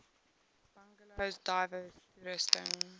bungalows diverse toerusting